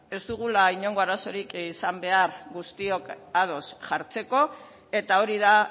ez dugula inongo arazorik izan behar guztiok ados jartzeko eta hori da